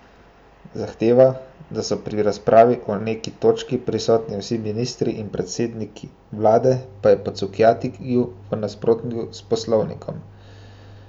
Zahteva, da so pri razpravi o neki točki prisotni vsi ministri in predsednik vlade pa je po Cukjatiju v nasprotju s poslovnikom.